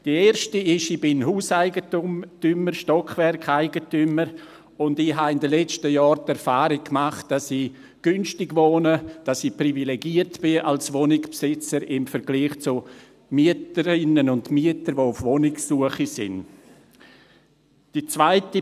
Die erste ist: Ich bin Hauseigentümer, Stockwerkeigentümer, und ich habe in den letzten Jahren die Erfahrung gemacht, dass ich günstig wohne, dass ich als Wohnungsbesitzer im Vergleich zu Mieterinnen und Mieter, die auf Wohnungssuche sind, privilegiert bin.